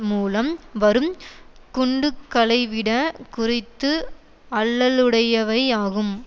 மூலம் வரும் குண்டுகளைவிட குறைந்து ஆல்லலுடையவை ஆகும்